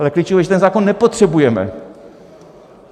Ale klíčové je, že ten zákon nepotřebujeme.